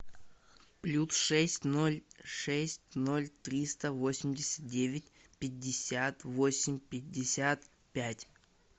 плюс шесть ноль шесть ноль триста восемьдесят девять пятьдесят восемь пятьдесят пять